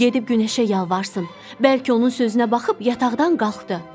Qoy gedib günəşə yalvarsın, bəlkə onun sözünə baxıb yataqdan qalxdı.